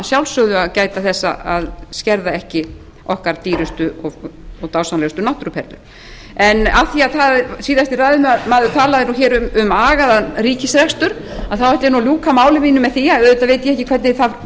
sjálfsögðu að gæta þess að skerða ekki okkar dýrustu og dásamlegustu náttúruperlur af því að síðasti ræðumaður talaði um agaðan ríkisrekstur þá ætla ég að ljúka máli mínu með því að auðvitað veit ég ekki hvernig það